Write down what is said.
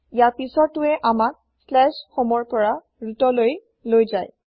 ইয়াৰ পিচৰটোৱে আমাক homeৰ পৰা rootলৈ লৈ যায়